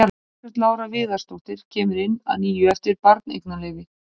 Margrét Lára Viðarsdóttir kemur inn að nýju eftir barneignarleyfi.